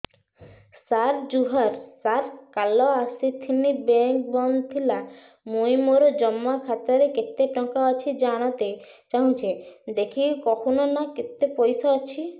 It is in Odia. ସାର ଜୁହାର ସାର କାଲ ଆସିଥିନି ବେଙ୍କ ବନ୍ଦ ଥିଲା ମୁଇଁ ମୋର ଜମା ଖାତାରେ କେତେ ଟଙ୍କା ଅଛି ଜାଣତେ ଚାହୁଁଛେ ଦେଖିକି କହୁନ ନା କେତ ପଇସା ଅଛି